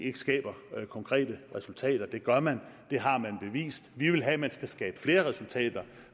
ikke skaber konkrete resultater det gør man det har man bevist vi vil have at man skal skabe flere resultater